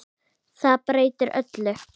Það breytti öllu.